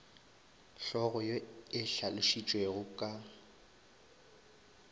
hlogo ye e hlalošitšwego ka